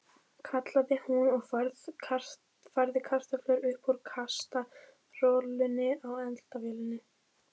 kallaði hún og færði kartöflur upp úr kastarolunni á eldavélinni.